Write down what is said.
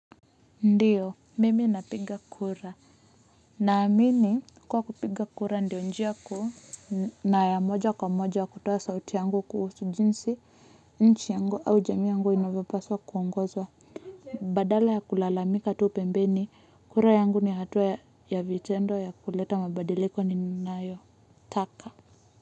Ndiyo mimi napiga kura naamini kuwa kupiga kura ndio njia kuu na ya moja kwa moja kutoa sauti yangu kuhusu jinsi nchi yangu au jamii yangu inavyopaswa kuongozwa. Badala ya kulalamika tu pembeni kura yangu ni hatua ya vitendo ya kuleta mabadiliko ninayo taka.